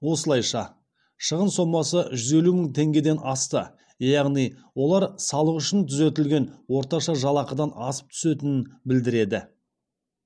осылайша шығын сомасы жүз елу мың теңгеден асты яғни олар салық үшін түзетілген орташа жалақыдан асып түсетінін білдіреді